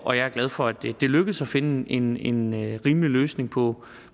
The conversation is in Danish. og jeg er glad for at det er lykkedes at finde en en rimelig løsning på